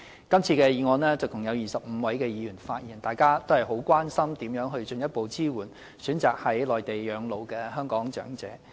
就這項議案，共有25位議員發言，大家都關心如何進一步支援選擇在內地養老的香港長者。